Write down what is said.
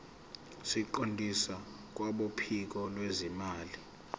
siqondiswe kwabophiko lwezimali